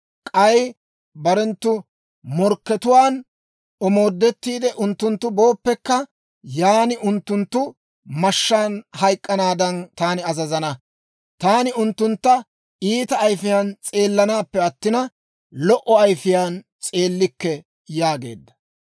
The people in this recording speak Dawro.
K'ay barenttu morkkatuwaan omoodettiide, unttunttu booppekka, yan unttunttu mashshaan hayk'k'anaadan, taani azazana; taani unttuntta iita ayifiyaan s'eellanaappe attina, lo"o ayifiyaan s'eellikke» yaageedda.